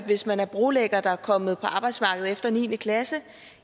hvis man er brolægger der er kommet på arbejdsmarkedet efter niende klasse